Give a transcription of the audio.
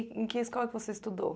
E em que escola você estudou?